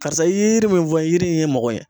Karisa i ye yiri min fɔ yiri in ye n mago ɲɛ.